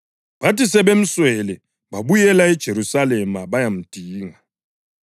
Bathi sebemswele babuyela eJerusalema bayamdinga.